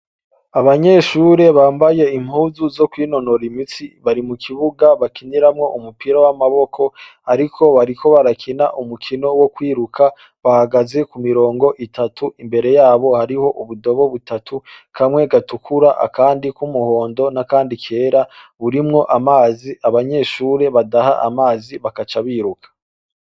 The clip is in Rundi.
Abanyeshure bambaye impuzu kwinonora imitsi ,bari mukibuga bakiniramwo umupira wamaboko ariko bariko barakina umukino wokwiruka bahagaze kumirongo itatu imbere yabo hari ubudobo itatu kamwe gatukura, akandi kumuhondo nakandi kera urimwo amazi abanyeshure badaha amazi bagaca biruka.